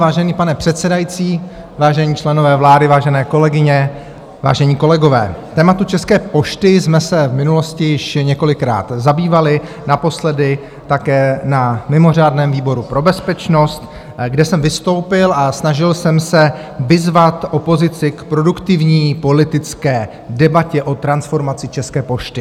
Vážený pane předsedající, vážení členové vlády, vážené kolegyně, vážení kolegové, tématem České pošty jsme se v minulosti již několikrát zabývali, naposledy také na mimořádném výboru pro bezpečnost, kde jsem vystoupil a snažil jsem se vyzvat opozici k produktivní politické debatě o transformaci České pošty.